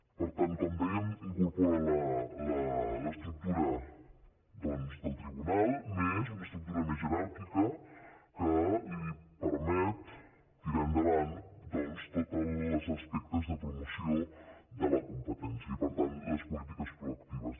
per tant com dèiem incorpora l’estructura doncs del tribunal més una estructura més jeràrquica que li per·met tirar endavant tots els aspectes de promoció de la competència i per tant les polítiques proactives